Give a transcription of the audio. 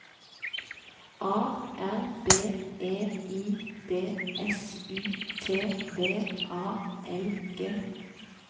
A R B E I D S U T V A L G